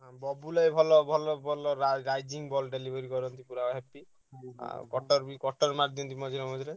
ବବୁଲୁ ଭାଇ ଭଲ ଭଲ ଭଲ ରା ball delivery କରନ୍ତି ପୁରା ଆଉ ବି ମାରିଦିଅନ୍ତି ମଝିରେ ମଝିରେ।